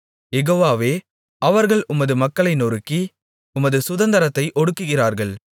யெகோவாவே அவர்கள் உமது மக்களை நொறுக்கி உமது சுதந்தரத்தை ஒடுக்குகிறார்கள்